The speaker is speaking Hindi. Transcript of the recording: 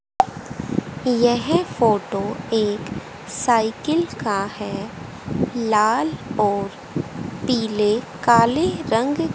यह फोटो एक साइकिल का है लाल और पीले काले रंग--